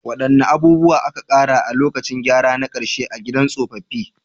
Wadanne abubuwa aka ƙara a lokacin gyara na karshe na gidan tsofaffi?